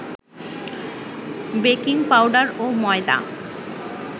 baking powder ও ময়দা